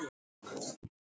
Þetta sagði Skúli oft.